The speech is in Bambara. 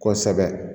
Kosɛbɛ